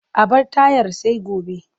A bar tayar sai gobe.